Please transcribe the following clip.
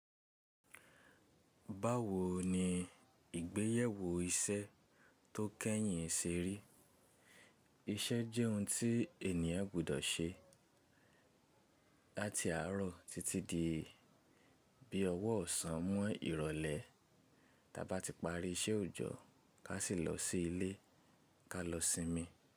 Báwo ni ìgbéyẹ̀wò iṣẹ́ tó kẹ́yìn ṣe rí? Iṣẹ́ jẹ́ ohun tí ènìyàn gbọ́dọ̀ ṣe láti àárọ̀ títí di bí ọwọ́ ọ̀sán mọ́ ìrọ̀lẹ́. Tí a bá ti parí iṣẹ́ òjọ́, ká sì lọ sí ilé, ká lọ sinmi.